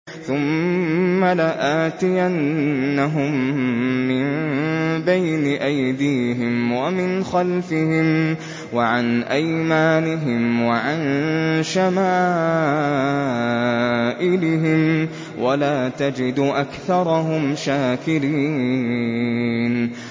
ثُمَّ لَآتِيَنَّهُم مِّن بَيْنِ أَيْدِيهِمْ وَمِنْ خَلْفِهِمْ وَعَنْ أَيْمَانِهِمْ وَعَن شَمَائِلِهِمْ ۖ وَلَا تَجِدُ أَكْثَرَهُمْ شَاكِرِينَ